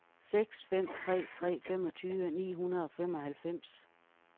seks fem tre tre femogtyve ni hundrede og femoghalvfems